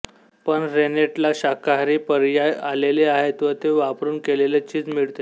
पण रेनेटला शाकाहारी पर्याय आलेले आहेत व ते वापरून केलेले चीज मिळते